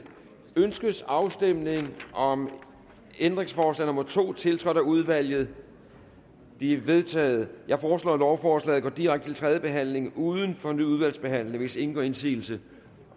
ønskes afstemning om ændringsforslag nummer to tiltrådt af udvalget det er vedtaget jeg foreslår at lovforslaget går direkte til tredje behandling uden fornyet udvalgsbehandling hvis ingen gør indsigelse